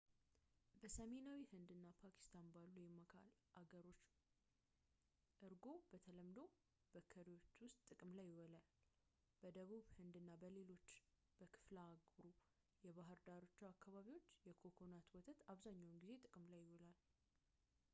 በሰሜናዊ ሕንድ እና ፓኪስታን ባሉ የመሃል አገር አካባቢዎች እርጎ በተለምዶ በከሪዎች ውስጥ ጥቅም ላይ ይውላል በደቡብ ህንድ እና በሌሎች በክፍለ አህጉሩ የባህር ዳርቻ አካባቢዎች የኮኮናት ወተት አብዛኛውን ጊዜ ጥቅም ላይ ይውላል